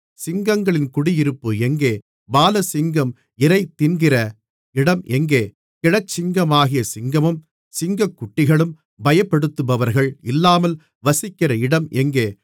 சிங்கங்களின் குடியிருப்பு எங்கே பாலசிங்கம் இரைதின்கிற இடம் எங்கே கிழச்சிங்கமாகிய சிங்கமும் சிங்கக்குட்டிகளும் பயப்படுத்துபவர்கள் இல்லாமல் வசிக்கிற இடம் எங்கே